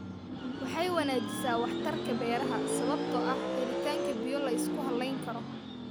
Waxay wanaajisaa waxtarka beeraha sababtoo ah helitaanka biyo la isku halayn karo.